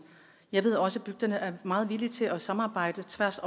jeg ved også at bygderne er meget villige til at samarbejde på tværs